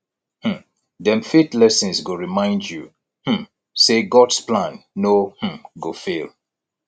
um dem faith lessons go remind yu um say gods plan no um go fail